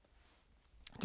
DR2